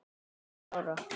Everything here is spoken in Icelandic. Sjö ára?